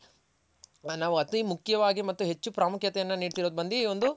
ನಾವು ಅತಿ ಮುಖ್ಯವಾಗಿ ಮತ್ತು ಹೆಚ್ಚು ಪ್ರಾಮುಖ್ಯತೆ ಯನ್ನು ನಿಡ್ತಿರೋದ್ ಬಂದಿ